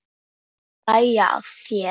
Og hlæja að þér.